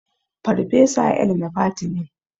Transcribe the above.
Farfesa El-nafati ne.